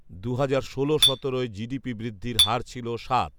দুহাজার ষোল সতেরোয় জিডিপি বৃদ্ধির হার ছিল সাত